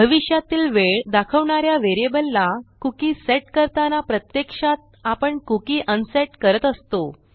भविष्यातील वेळ दाखवणा या व्हेरिएबलला कुकी सेट करताना प्रत्यक्षात आपण कुकी अनसेट करत असतो